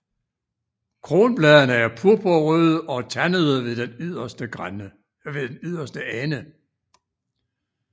Kronbladene er purpurrøde og tandede ved den yderste ende